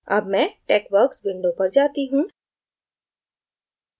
अब मैं texworks window पर जाती हूँ